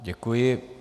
Děkuji.